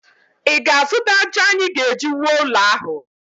Ị ga-azụta ájá anyị ga-eji wuo ụlọ ahụ?